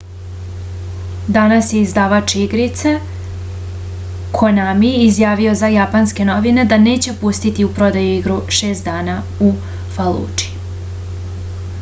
danas je izdavač igrice konami izjavio za japanske novine da neće pustiti u prodaju igru šest dana u faludži